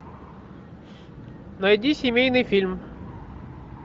найди семейный фильм